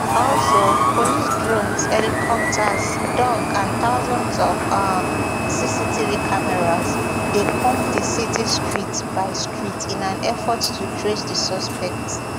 also police drones helicopters dogs and thousands of um cctv cameras dey comb di city street by street in an effort to trace di suspect